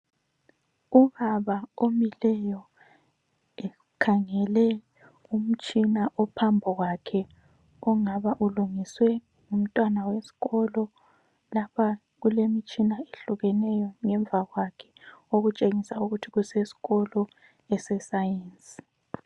Ubaba omileyo ekhangele umtshina ophambi kwakhe ongaba ulungiswe ngumntwana wesikolo. Lapha kulemtshina ehlukeneyo ngemva kwakhe okutshengisa ukuthi kusesikolo eseScience.